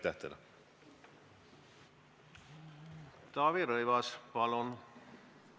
Taavi Rõivas, palun!